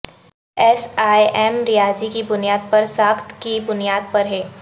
S E M ریاضی کی بنیاد پر ساخت کی بنیاد پر ہے